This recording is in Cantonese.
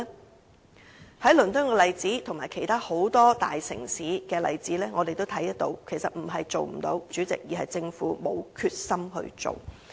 我們從倫敦的例子和其他很多大城市的例子皆看到，其實並非不可行，代理主席，只是政府沒有決心推動而已。